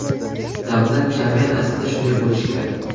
Davlat, jamiyat aslida shunday bo‘lishi kerak.